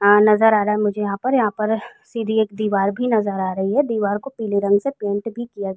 हा नजर आ रहा है मुझे यहां परयहां पर सीधी एक दीवार भी नजर आ रही है। दीवार को पीले रंग से पेंट भी किया --